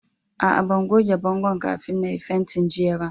Aa, ban goge bongon' kafin na yi fentin jiya ba.